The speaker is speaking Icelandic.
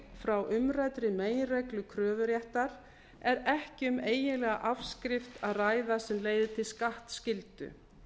frá umræddri meginreglu kröfuréttar er ekki um eiginlega afskrift að ræða sem leiðir til skattskyldu